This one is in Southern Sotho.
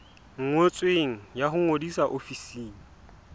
ngotsweng ya ho ngodisa ofising